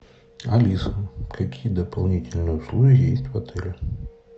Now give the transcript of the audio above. алиса какие дополнительные услуги есть в отеле